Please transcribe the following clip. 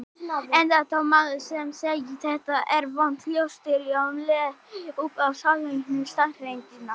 Enda þótt maður sem segi: Þetta er vont ljóstri um leið upp um sálrænu staðreyndina.